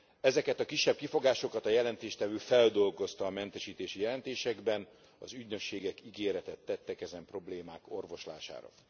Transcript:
Ezeket a kisebb kifogásokat a jelentéstevő feldolgozta a mentesítési jelentésekben, az ügynökségek ígéretet tettek ezen problémák orvoslására.